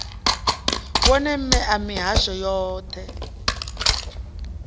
wone mme a mihasho yoṱhe